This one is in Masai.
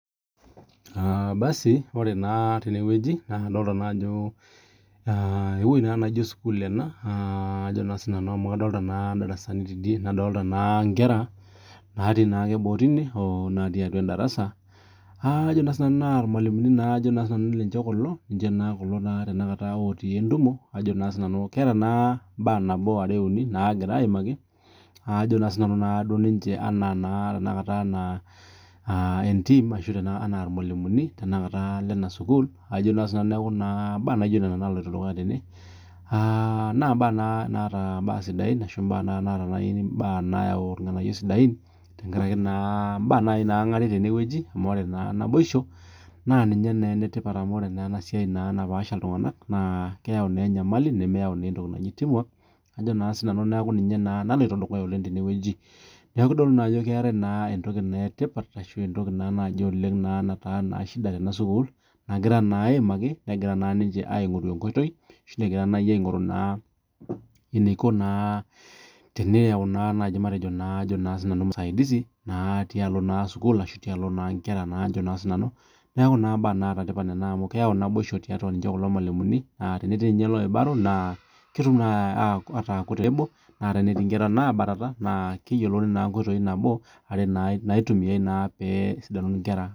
Ore naa tenewueji naa kadolita ewueji naijio sukuul amu kadolita darasani nadolita Nkera natii boo teine oo natii atua darasa naa irmalimuni ninche kulo naa Tanaka otii entumo ketaa mbaa are uni naagira ayimaki ena irmalimuni Lena sukuul neeku mbaa naijio Nena napuoito dukuya tenewueji naa mbaa sidain naa mbaa nayawu mbaa nayawu irng'anayio sidai amu ore naa naibosho naa ninye naa enetipat amu ore enasiai napaasha iltung'ana naa keyau naa enyamali nemeyau tipat neeku ninye naloito dukuya tenewueji neeku kitodolu Ajo keetae entoki etipat ashu entoki nataa shida Tena sukuul naagira naa ayimaki negira naa ninche aing'oru enkoitoi eniko teneyau musaidizi tialo naa sukuul ashu tialo naa Nkera neeku mbaa nataa tipat amu keyau naboisho tiatua kulo malimu tenetii ninye loibaro naa ketum ataa tenebo naa tenetii Nkera nabatata naa keyiolou naa nkoitoi are uni naitumiai pee esidanu nkera